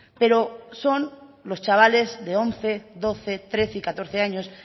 pero son los chavales de once doce trece y catorce años